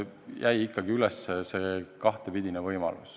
Jäi ikkagi üles see kahepidine võimalus.